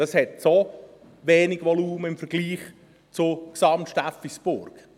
Es hat so wenig Volumen im Vergleich zu Gesamt-Steffisburg.